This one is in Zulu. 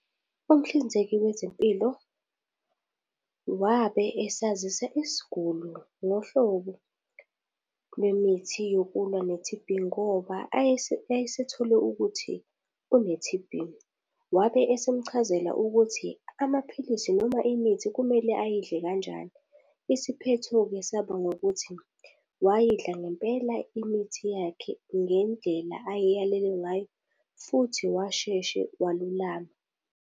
Umhlinzeki wezempilo wabe esazisa isigulu ngohlobo lwemithi yokulwa ne-T_B ngoba ayesethole ukuthi une-T_B wabe esemchazela ukuthi amaphilisi noma imithi kumele ayidle kanjani. Isiphetho-ke saba ngokuthi wayidla ngempela imithi yakhe ngendlela ayayalelwe ngayo, futhi washeshe walulama.